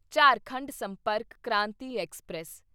Jharkhand Sampark Kranti express